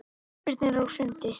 Ísbirnir á sundi.